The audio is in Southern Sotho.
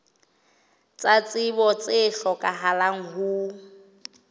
tsa tsebo tse hlokahalang ho